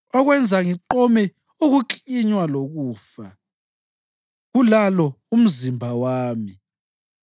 okwenza ngiqome ukuklinywa lokufa, kulalo umzimba wami.